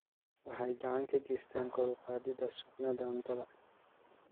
Waxay gacan ka geystaan ??kor u qaadida sugnaanta cuntada.